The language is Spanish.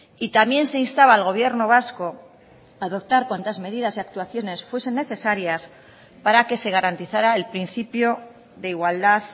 y también se instaba al gobierno vasco a adoptar cuantas medidas y actuaciones fuesen necesarias para que se garantizara el principio de igualdad